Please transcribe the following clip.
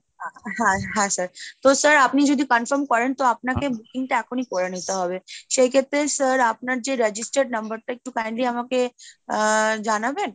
হ্যাঁ হ্যাঁ sir তো sir আপনি যদি confirm করেন তো আপনাকে booking টা এখনই করে নিতে হবে সেই ক্ষেত্রে sir আপনার যে registered number টা একটু kindly আমাকে আহ জানাবেন?